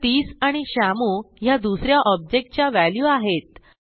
तर 30 आणि श्यामू ह्या दुस या ऑब्जेक्ट च्या व्हॅल्यू आहेत